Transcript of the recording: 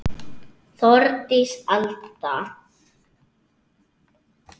Þórdís Alda.